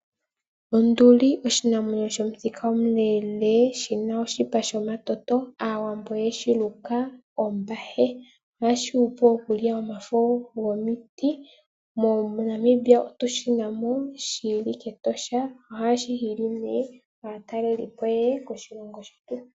Onduli oshinamwenyo shomuthika omuleele shina oshipa shomatoto. Aawambo oyeshi Luka ombahe ohashi oshi hupile mokulya omafo gomiti moNamibia otushina mo shili mEtosha ohashi hili ihe aatalelipo yeye koshilongo shetu.